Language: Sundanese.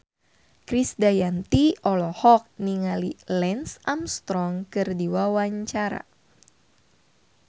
Krisdayanti olohok ningali Lance Armstrong keur diwawancara